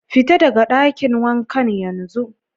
Fita daga dakin wankan yanzun!